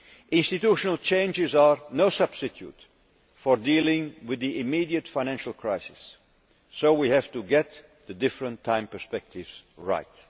Institutional changes are no substitute for dealing with the immediate financial crisis, so we have to get the different time perspectives right.